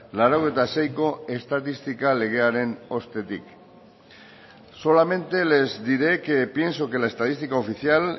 laurogeita seiko estatistika legearen ostetik solamente les diré que pienso que la estadística oficial